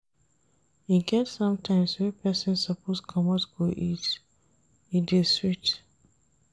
E get sometimes wey pesin suppose comot go eat, e dey sweet.